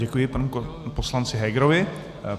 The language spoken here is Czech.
Děkuji panu poslanci Hegerovi.